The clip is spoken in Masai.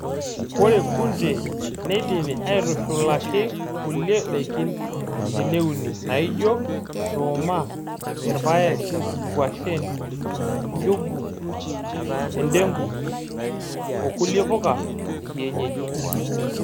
Ore kunde neidimi aitushulaki kulie daikin teneuni naijio; nduuma, irpaek, nguashen, njugu, endengu oo kulie puka ekienyeji.